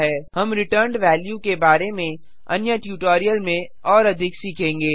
हम returned value के बारे में अन्य ट्यूटोरियल में और अधिक सीखेंगे